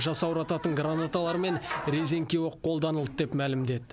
жасаурататын гранаталар мен резеңке оқ қолданылды деп мәлімдеді